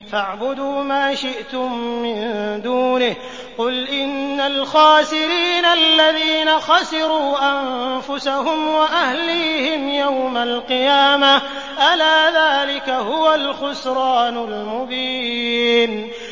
فَاعْبُدُوا مَا شِئْتُم مِّن دُونِهِ ۗ قُلْ إِنَّ الْخَاسِرِينَ الَّذِينَ خَسِرُوا أَنفُسَهُمْ وَأَهْلِيهِمْ يَوْمَ الْقِيَامَةِ ۗ أَلَا ذَٰلِكَ هُوَ الْخُسْرَانُ الْمُبِينُ